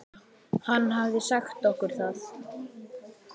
Hann hafði sagt okkur það.